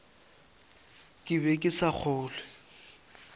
ke be ke sa kgolwe